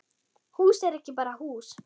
Hús er ekki bara hús.